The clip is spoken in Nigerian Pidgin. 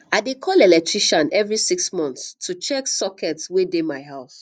i dey call electrician every six months to check sockets wey dey my house